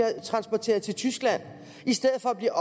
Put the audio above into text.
transporteret til tyskland i stedet for at blive